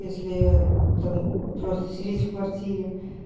если там просто сидеть в квартире